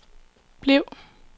bliv